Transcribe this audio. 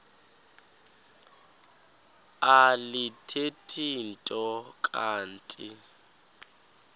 alithethi nto kanti